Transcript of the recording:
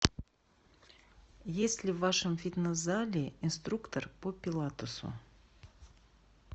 есть ли в вашем фитнес зале инструктор по пилатесу